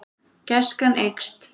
Gæskan eykst.